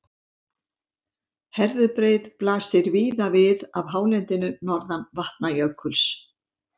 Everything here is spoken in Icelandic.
Herðubreið blasir víða við af hálendinu norðan Vatnajökuls.